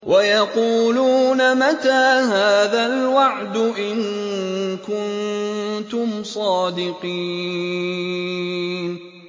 وَيَقُولُونَ مَتَىٰ هَٰذَا الْوَعْدُ إِن كُنتُمْ صَادِقِينَ